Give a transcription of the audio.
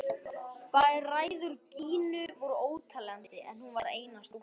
Bræður Gínu voru óteljandi en hún var eina stúlkan.